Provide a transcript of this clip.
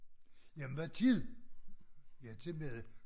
Jamen hvad tid? Ja til mad